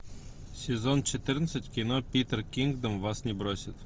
сезон четырнадцать кино питер кингдом вас не бросит